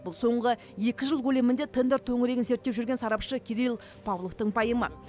бұл соңғы екі жыл көлемінде тендер төңірегін зерттеп жүрген сарапшы кирилл павловтың пайымы